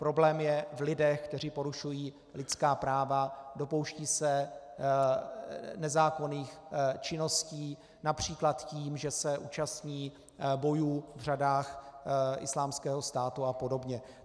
Problém je v lidech, kteří porušují lidská práva, dopouštějí se nezákonných činností, například tím, že se účastní bojů v řadách Islámského státu a podobně.